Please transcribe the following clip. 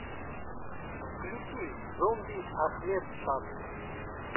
включи зомби ахмед шад